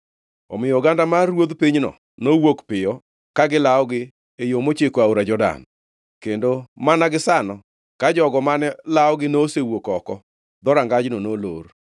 Omiyo oganda mar ruodh pinyno nowuok piyo ka gilawogi e yo mochiko aora Jordan, kendo mana gisano ka jogo mane lawogi nosewuok oko, dhorangajno nolor.